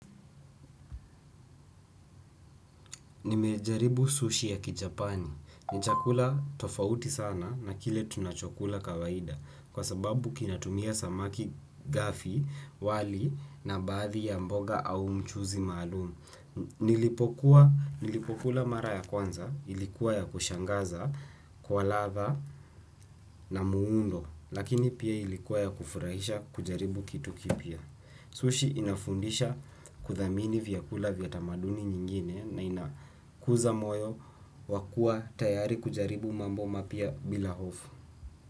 Nimejaribu sushi ya kichapani. Ni chakula tofauti sana na kile tunachokula kawaida kwa sababu kinatumia samaki gafi wali na baadhi ya mboga au mchuzi maalumu. Nilipokula mara ya kwanza, ilikuwa ya kushangaza, kwa ladha na muundo, lakini pia ilikuwa ya kufurahisha kujaribu kitu kipya. Sushi inafundisha kuthamini vyakula vya tamaduni nyingine na inakuza moyo wa kuwa tayari kujaribu mambo mapya bila hofu.